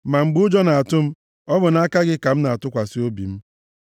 Ma mgbe ụjọ na-atụ m, ọ bụ na gị ka m na-atụkwasị obi m.